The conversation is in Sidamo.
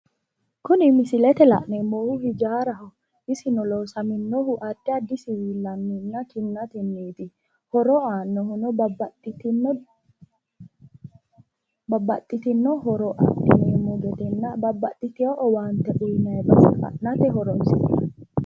Kuni misilete la'neemmohu hijaaraho. Isino loosaminohu addi addi siwiillanninna kinnatenniiti. Horo aannohuno babbaxxitino horo adhineemmo gedenna babbaxxitiwo owaante uyinayi base fa'nate horoonsi'nanni.